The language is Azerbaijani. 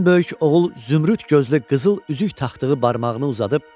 Ən böyük oğul zümrüd gözlü qızıl üzük taxtığı barmağını uzadıb.